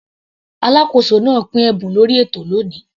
Alákóso náà pín ẹ̀bùn lórí ètò lóni.